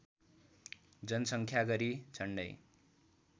जनसङ्ख्या गरी झन्डै